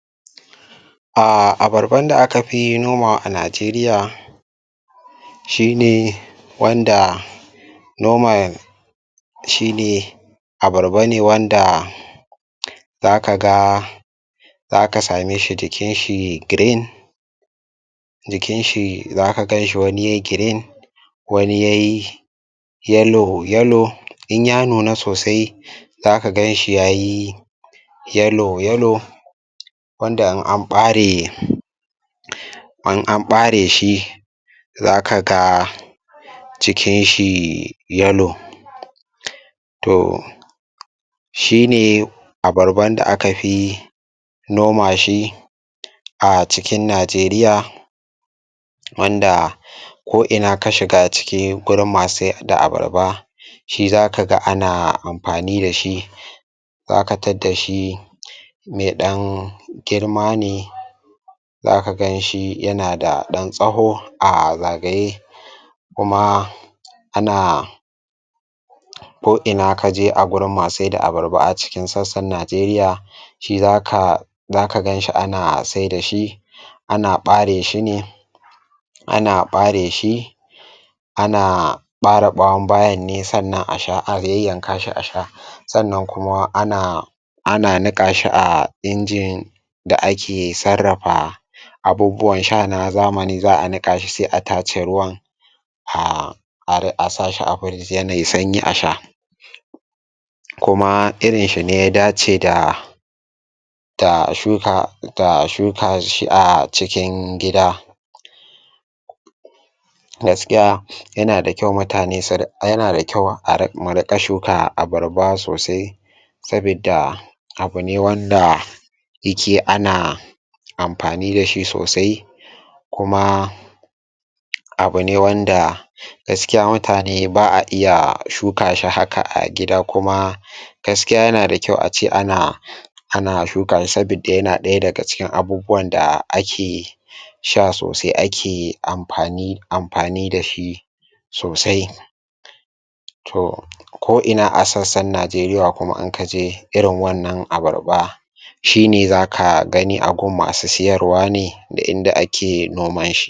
Ah abarban da aka fi noma a najeriya shi ne wanda noman shi ne abarba ne wanda zaka ga zaka sa me shi jikin shi green jikin shi zaka ganshi wani ye green wani ye yellow, yellow in ya nuna sosai zaka gan shi yayi yellow, yellow wanda in an ɓare um in an ɓare shi zaka ga cikin shi yellow toh shi ne abarban da aka fi noma shi a cikin najeriya wanda um ko ina ka shiga ciki gurin masu sai da abarba shi zaka ga ana amfani dashi zaka tadda shi mai ɗan girma ne zaka ganshi yana da ɗan tsaho a zagaye kuma ana ko ina kaje a gurin masu saida abarba a cikin sassan najeriya shi zaka zaka ganshi ana saida shi ana ɓare shi ne ana ɓare shi ana ɓare ɓawon bayan ne sannan a sha a yayyanka shi a sha sannan kuma ana ana niƙa shi a injin da ake sarrafa abubuwan sha na zamani za'a niƙa shi sai a tace ruwan aah har a sashi a firig yanda ye sanyi a sha kuma irin shi ne ya dace da ta shuka ta shuka shi a cikin gida gaskiya yana da kyau mutane su ri yana da kyau a riƙa mu riƙa shuka abarba sosai sabidda abune wanda ana amfani dashi sosai kuma abune wanda gaskiya mutane ba'a iya shuka shi haka a gida kuma gaskiya yana da kyau a ce ana um ana shuka shi sabidda yana ɗaya daga cikin abubuwan da ake sha sosai ake amfani amfani dashi sosai toh ko ina a sassan najeriya kuma in kaje irin wannan abarba shi ne zaka gani a gun masu siyarwa ne da inda ake noman shi.